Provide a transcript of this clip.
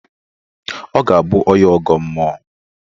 Ọ ga-abụ onye ọgọ mmụọ.